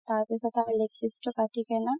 তাৰপিছত আৰু leg piece তো কাতি কিনে